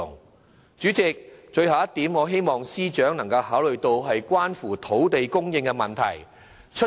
代理主席，最後一點，是希望司長能考慮關乎土地供應的問題。